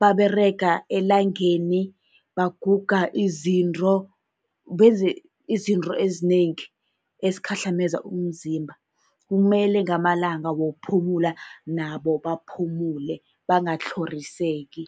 baberega elangeni, baguga izinto, benze izinto ezinengi ezikhahlameza umzimba. Kumele ngamalanga wokuphumula nabo baphumule bangatlhoriseki.